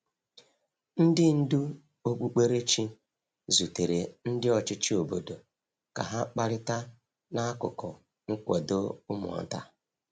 Ndị ndú okpukperechi zutere ndị ọchịchị obodo ka ha kparịta n’akụkụ nkwado ụmụ nta.